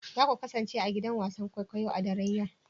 Za ku kasance a gidan wasan kwaikwayo a daren yau